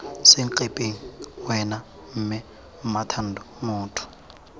senkepeng wena mme mmathando motho